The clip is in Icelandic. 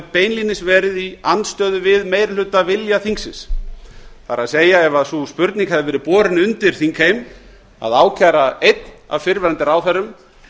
beinlínis verið í andstöðu við meirihlutavilja þingsins það er ef sú spurning hefði verið borin undir þingheim að ákæra einn af fyrrverandi ráðherrum